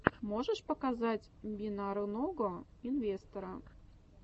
можешь показать бинарного инвестора